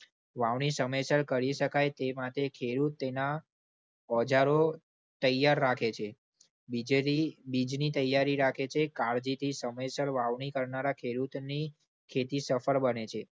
વાવણી સમયસર કરી શકાય તે માટે ખેડૂત તેના ઓજારો તૈયાર રાખે છે. બીજેનીબીજની તૈયારી રાખે છે કાળજીથી સમયસર વાવણી કરનારા ખેડૂતની ખેતી સફળ બને છે.